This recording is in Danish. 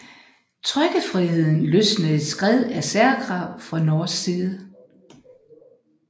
Trykkefriheden løsnede et skred af særkrav fra norsk side